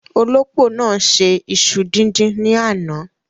Olópò náà ṣe iṣu díndín ní àná.